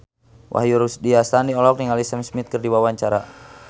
Wahyu Rudi Astadi olohok ningali Sam Smith keur diwawancara